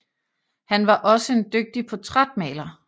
Han var også en dygtig portrætmaler